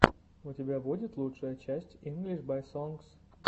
у тебя будет лучшая часть инглиш бай сонгс